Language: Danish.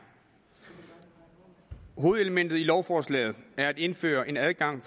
hovedelementet i lovforslaget er at indføre en adgang